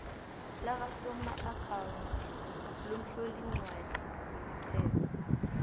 lakasomaakhawundi lomhloliincwadi wesiqhema